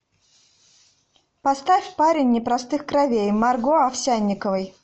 поставь парень непростых кровей марго овсянниковой